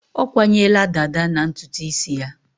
Ọ kwanyela dàdá na ntutu isi ya.